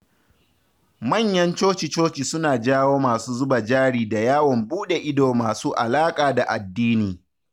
Manyan coci-coci suna jawo masu zuba jari da yawon buɗe ido masu alaƙa da addini.